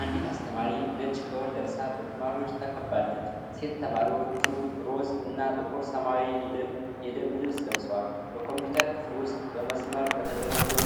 አንዲት አስተማሪ ነጭ ጋዋን ለብሳ በተማሪዎች ተከባለች። ሴት ተማሪዎቹ ሮዝ እና ጥቁር ሰማያዊ የደንብ ልብስ ለብሰዋል። በኮምፒውተር ክፍል ውስጥ በመስመር በተደረደሩ